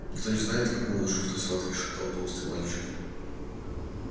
никто не знает как он выжил в той схватке шептал толстый мальчик